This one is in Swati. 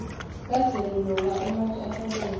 kadzeni lokwa ematje asabokotela